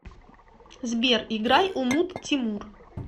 сбер играй умут тимур